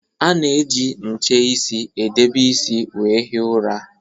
A na -eji nche isi edebe isi wee hie ụra